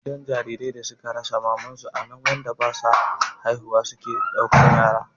Gidan jariran da suka rasa mamansu anan wanda basa haihuwa suke ɗauka su yara